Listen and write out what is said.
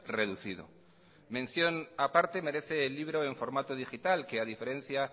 reducido mención aparte merece el libro en formato digital que a diferencia